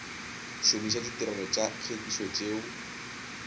šomiša ditirelo tša tlhwekišo tšeo